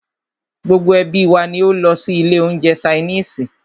Gbogbo ẹ́bí wa ní o lọ sí ilé oúnjẹ ṣainiisi.